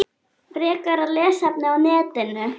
Frekara lesefni á netinu